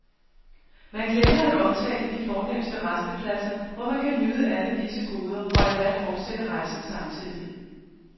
Man glemmer at omtale de fornemste rastepladser, hvor man kan nyde alle disse goder, og endda fortsætte rejsen samtidig.